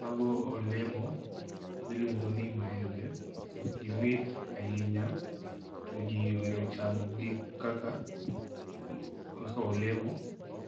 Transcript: Mago olemo miluongo ni maembe . Gimit ahinya to jii ohero chamogi kaka olemo